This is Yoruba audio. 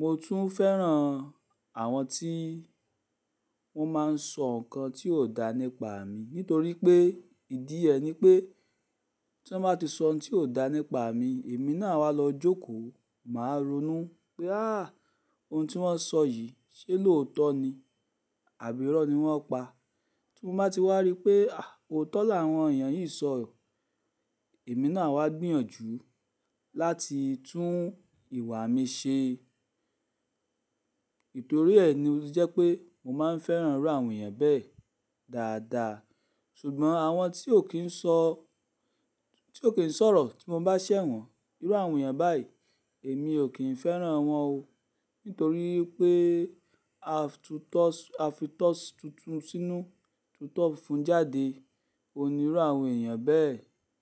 Mo tún fẹ́ràn àwọn tí wọ́n máa ń sọ ǹkan tí ò dá nípa mi nítorí pé ìdí ẹ ní pé tí wọ́n bá ti sọ ohun tí ò dá nípa mi, èmi náà wá lọ jókòó, màá ronú pé “àá ohun tí wọ́n sọ yìí ṣe lóòótọ́ ni àbí irọ́ ni wọ́n pa?” Tí mo bá ti wá rí pé òótọ́ làwọn èèyàn yìí sọ, èmi náà wá gbìyànjú láti tún ìwà mi ṣe. Nítorí ẹ ni ó jẹ́ pé mo máa ń fẹ́ràn irú àwọn èèyàn bẹ́ẹ̀ dáadáa. Ṣùgbọ́n àwọn tí ò kí ń sọ, tí ò kí ń sọ̀rọ̀ tí mo bá ṣẹ̀ wọ́n, irú àwọn èèyàn báyìí èmi ò kí ń fẹ́ràn wọ́n o. Nítorí pé a fi itọ́ tuntun sínú tuto fúnfún jáde. Ó ní irú àwọn èèyàn bẹ́ẹ̀